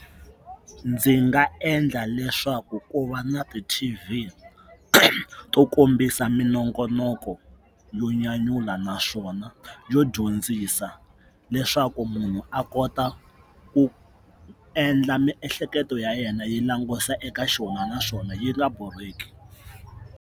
Ndzi nga endla leswaku ku va na ti T_V to kombisa minongonoko yo nyanyula naswona yo dyondzisa leswaku munhu a kota ku endla miehleketo ya yena yi langusa eka xona naswona yi nga borheki.